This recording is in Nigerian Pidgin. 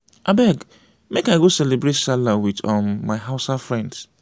abeg make i go cerebrate sallah wit um my hausa friends.